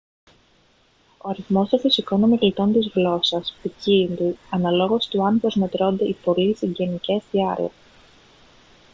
ο αριθμός των φυσικών ομιλητών της γλώσσας ποικίλει αναλόγως του αν προσμετρώνται οι πολύ συγγενικές διάλεκτοι